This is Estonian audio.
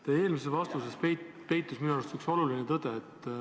Teie eelmises vastuses peitus minu arust üks oluline tõde.